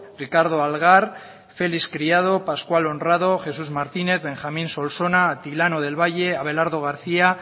ricardo algar felix criado pascual honrado jesús martínez benjamín solsona atilano del valle abelardo garcía